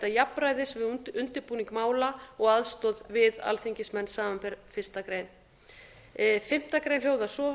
jafnræðis við undirbúning mála og aðstoð við alþingismenn samanber fyrstu grein fimmtu grein hljóðar svo